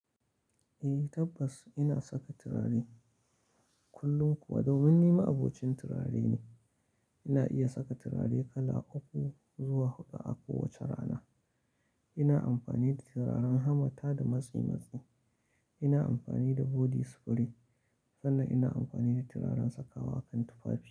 Eh tabbas ina saka turare kullum kuwa domin ni ma'abocin turare ne. Ina iya saka turare kala uku zuwa huɗu a kowace rana. Ina amfani da turaren hamata da matsi matsi, ina amfani da body spray sannan ina amfani da turaren saka wa kan tufafi.